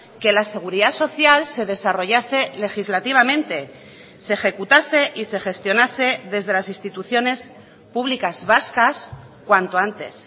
que la seguridad social se desarrollase legislativamente se ejecutase y se gestionase desde las instituciones públicas vascas cuanto antes